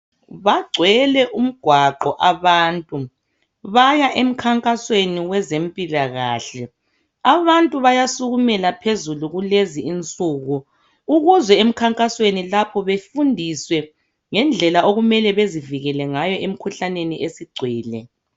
Bagcwele umgwaqo abantu baya emkhankasweni wezempilakahle. Abantu bayasukumela phezulu kulezi insuku ukuze emkhankasweni lapho befundiswe ngendlela okumele bezivikele ngayo emkhuhlaneni esigcwele.